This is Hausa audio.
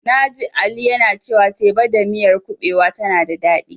Na ji Aji yana cewa teba da miyar kuɓewa tana da daɗi.